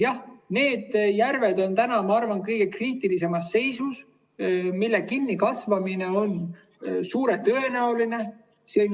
Jah, need järved on, ma arvan, kõige kriitilisemas seisus, nende kinnikasvamine on rohkem tõenäoline.